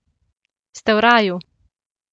Ste v raju?